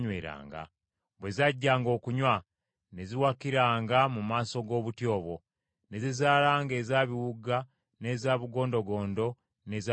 Bwe zajjanga okunywa ne ziwakiranga mu maaso g’obuti obwo, ne zizaalanga eza biwuuga, n’eza bugondogondo n’eza bitanga.